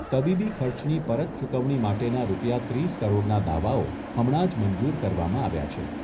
તબીબી ખર્ચની પરત ચુકવણી માટેના રૂપિયા ત્રીસ કરોડના દાવાઓ હમણાં જ મંજૂર કરવામાં આવ્યા છે.